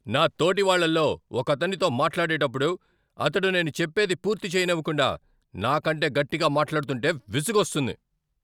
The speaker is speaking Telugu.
నా తోటివాళ్ళలో ఒకతనితో మాట్లాడేటప్పుడు అతడు నేను చెప్పేది పూర్తి చెయ్యనివ్వకుండా, నా కంటే గట్టిగా మాట్లాడుతుంటే విసుగోస్తుంది.